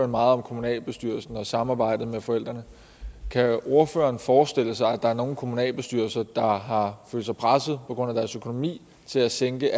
meget om kommunalbestyrelsen og samarbejdet med forældrene kan ordføreren forestille sig at der er nogle kommunalbestyrelser der har følt sig presset på grund af deres økonomi til at sænke